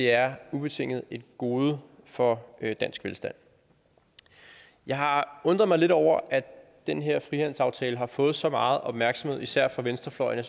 er ubetinget et gode for dansk velstand jeg har undret mig lidt over at den her frihandelsaftale har fået så meget opmærksomhed især fra venstrefløjen